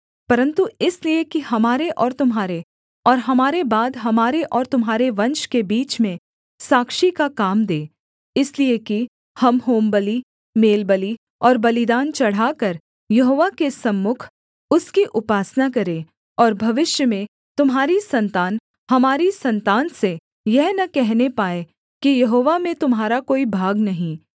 परन्तु इसलिए कि हमारे और तुम्हारे और हमारे बाद हमारे और तुम्हारे वंश के बीच में साक्षी का काम दे इसलिए कि हम होमबलि मेलबलि और बलिदान चढ़ाकर यहोवा के सम्मुख उसकी उपासना करें और भविष्य में तुम्हारी सन्तान हमारी सन्तान से यह न कहने पाए कि यहोवा में तुम्हारा कोई भाग नहीं